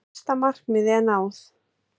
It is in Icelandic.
Fyrsta markmiði er náð.